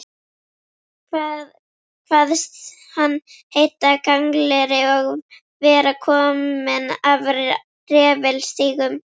Kvaðst hann heita Gangleri og vera kominn af refilstígum.